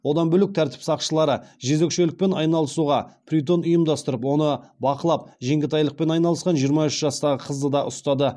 одан бөлк тәртіп сақшылары жезөкшелікпен айналысуға притон ұйымдастырып оны бақылап жеңгетайлықпен айналысқан жиырма үш жастағы қызды да ұстады